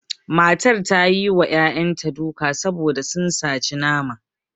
Matar ta yi wa ƴaƴanta duka saboda sun saci nama